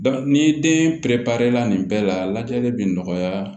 ni den pɛrɛnprɛrɛ la nin bɛɛ la lajɛli bɛ nɔgɔya